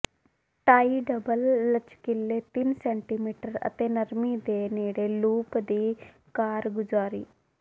ਟਾਈ double ਲਚਕੀਲੇ ਤਿੰਨ centimetre ਅਤੇ ਨਰਮੀ ਦੇ ਨੇੜੇ ਲੂਪ ਦੀ ਕਾਰਗੁਜ਼ਾਰੀ